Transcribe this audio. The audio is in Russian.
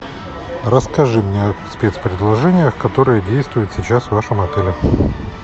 расскажи мне о спецпредложениях которые действуют сейчас в вашем отеле